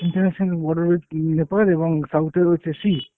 international border with Nepal এবং south এ রয়েছে sea।